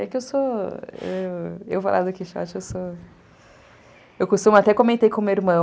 É que eu sou... Eu vou lá do Quixote, eu sou... Eu costumo... Até comentei com o meu irmão.